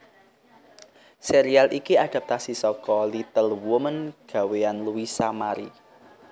Sérial iki adhaptasi saka Little Woman gawéyan Louisa Mary